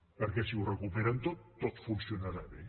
perquè si ho recuperen tot tot funcionarà bé